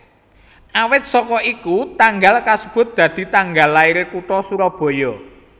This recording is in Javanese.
Awit saka iku tanggal kasebut dadi tanggal lairé kutha Surabaya